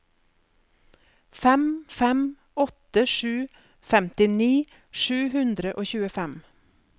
fem fem åtte sju femtini sju hundre og tjuefem